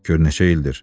Gör neçə ildir.